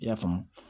I y'a faamu